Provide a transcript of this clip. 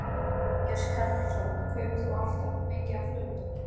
Jón Júlíus Karlsson: Kaupir þú alltaf mikið af flugeldum?